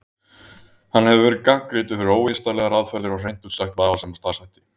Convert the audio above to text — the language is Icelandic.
Hann hefur verið gagnrýndur fyrir óvísindalegar aðferðir og hreint út sagt vafasama starfshætti.